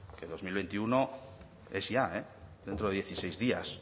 que dos mil veintiuno es ya eh dentro de dieciséis días